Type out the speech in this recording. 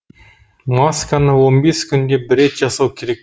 масканы он бес күнде бір рет жасау керек